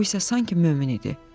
O isə sanki mömin idi.